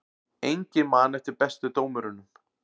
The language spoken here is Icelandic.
Enginn man eftir bestu dómurunum